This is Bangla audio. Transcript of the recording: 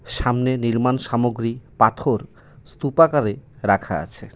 সামনে নির্মাণ সামগ্রী পাথর স্তূপাকারে রাখা আছে.